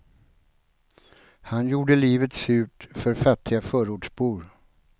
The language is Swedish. Han gjorde livet surt för fattiga förortsbor.